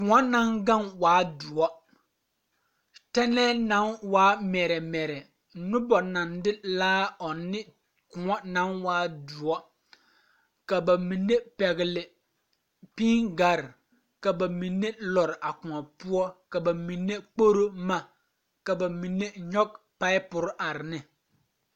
Kõɔ naŋ ɡaŋ waa doɔ tɛnɛɛ naŋ waa mɛrɛmɛrɛ noba naŋ de laa ɔŋ ne kõɔ naŋ waa doɔ ka ba mine pɛɡele piiɡare ka ba mine lɔre a kõɔ poɔ ba mine kporo boma ka ba mine nyɔɡe paapuri are ne.